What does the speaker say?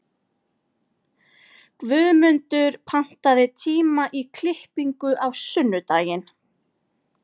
Guðmundur, pantaðu tíma í klippingu á sunnudaginn.